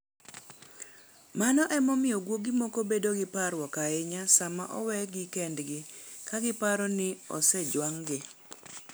Mano emomiyo guogi moko bedo gi parruok ahinya sama owegi kendgi ka giparo ni osejwang'gi.